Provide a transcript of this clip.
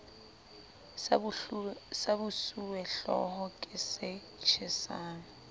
sa bosuwehlooho ke se tjhesang